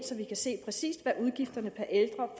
se præcis hvad udgifterne per ældre